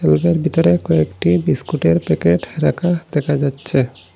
এটার ভিতরে কয়েকটি বিস্কুটের প্যাকেট রাখা দেখা যাচ্ছে।